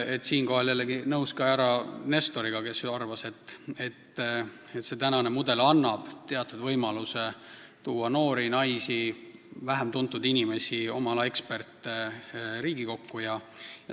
Siinkohal olen ma nõus ka härra Nestoriga, kes arvab, et see tänane mudel annab teatud võimaluse tuua Riigikokku ka noori, naisi, vähem tuntud inimesi, kes on oma ala eksperdid.